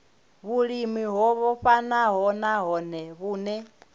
vhulimi o vhofhanaho nahone vhune